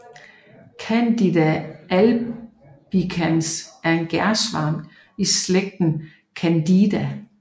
Candida albicans er en gærsvamp i slægten Candida